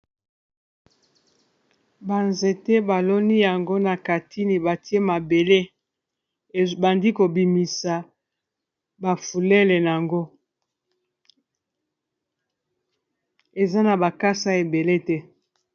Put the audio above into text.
Ba nzete baloni yango na katini batie mabele ebandi kobimisa ba fulele nango eza na bakasa ebele te.